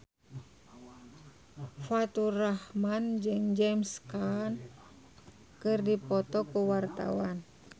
Faturrahman jeung James Caan keur dipoto ku wartawan